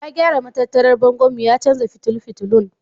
Ya gyara matattarar bangonmu ya canza fitulun fitulun.